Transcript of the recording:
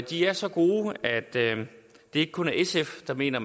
de er så gode at det ikke kun er sf der mener